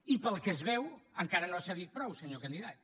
i pel que es veu encara no ha cedit prou senyor candidat